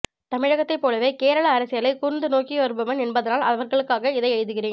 தமிழகத்தைப்போலவே கேரள அரசியலைக் கூர்ந்து நோக்கி வருபவன் என்பதனால் அவர்களுக்காக இதை எழுதுகிறேன்